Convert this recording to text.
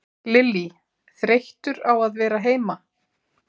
Lillý: Þreyttur á að vera heima?